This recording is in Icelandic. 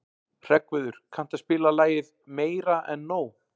Hreggviður, kanntu að spila lagið „Meira En Nóg“?